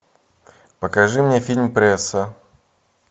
покажи мне фильм пресса